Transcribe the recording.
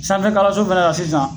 Sanfɛ kalanso fɛnɛ na sisan